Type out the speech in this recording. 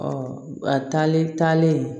taale taalen